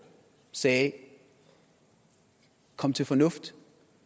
sagde kom til fornuft